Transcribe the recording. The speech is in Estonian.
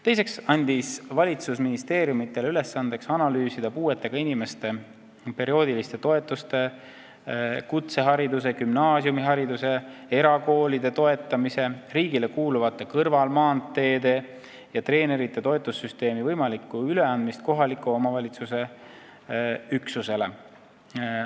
Teiseks andis valitsus ministeeriumidele ülesandeks analüüsida puuetega inimeste perioodiliste toetuste, kutsehariduse, gümnaasiumihariduse, erakoolide toetamise, riigile kuuluvate kõrvalmaanteede ja treenerite toetussüsteemi võimalikku üleandmist kohaliku omavalitsuse üksusele.